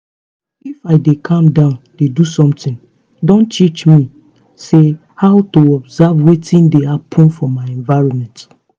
if i dey calm down dey do something don teach me say how to observe wetin dey happen for my environment